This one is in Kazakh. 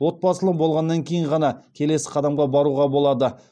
отбасылы болғаннан кейін ғана келесі қадамға баруға болады